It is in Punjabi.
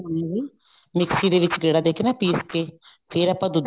ਮਿਕਸੀ ਦੇ ਵਿੱਚ ਨਾ ਗੇੜਾ ਦੇ ਕੇ ਪੀਸ ਕੇ ਫ਼ੇਰ ਆਪਾਂ ਦੁੱਧ